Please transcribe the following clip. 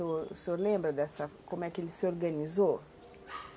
O senhor lembra dessa... como é que ele se organizou?